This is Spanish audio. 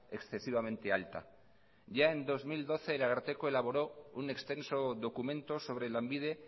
excesivamente alta ya en dos mil doce el ararteko elaboró un extenso documento sobre lanbide